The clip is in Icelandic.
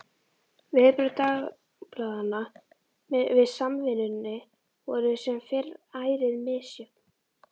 Viðbrögð dagblaðanna við Samvinnunni voru sem fyrr ærið misjöfn.